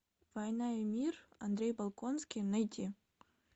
война и мир андрей болконский найти